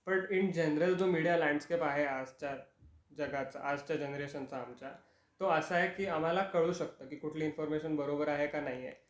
पण in general जो media landscape आहे आजच्या जगाचा, आजच्या जेनरेशन चा आमचा तो असा आहे की आम्हाला कळू शकतो की कुठली इन्फॉरमेशन बरोबर आहे कि नाही आहे.